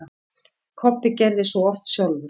Kobbi gerði svo oft sjálfur.